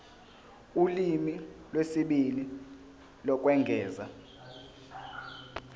ulimi lwesibili lokwengeza